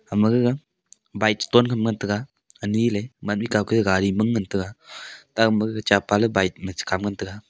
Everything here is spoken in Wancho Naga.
hama gaga bike chiton ham ngan tega ani le gari ma ngan tega taoma ge cha pa le bike ma chikham ngan tega.